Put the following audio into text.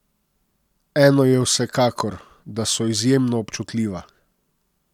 Eno je vsekakor, da so izjemno občutljiva.